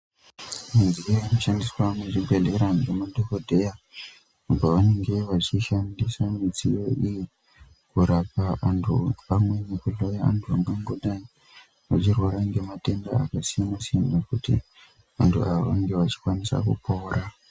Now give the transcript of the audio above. Midziyo inoshandiswa muzvibhedhlera nemadhokodheya apo vanenge vachishandisa midziyo iyi kurapa antu pamwe yekuhloya vantu vangangodai vachirwara nematenda akasiyana siyana kuti antu ava vanenge vachikwanisa kupora.